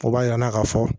O b'a yira an na k'a fɔ